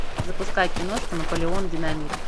запускай киношку наполеон динамит